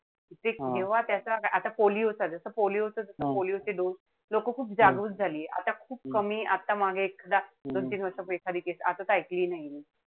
ते तेव्हा त्याचा आता polio चा जसा polio polio चे dose लोकं खूप झालीये. आता खूप कमी, आता मागे एक दोन-तीन वर्षांपूर्वी एखादी case. आता त काई ऐकली नाहीये.